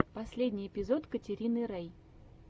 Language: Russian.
последний эпизод катерины рей